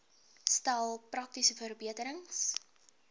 stel praktiese verbeterings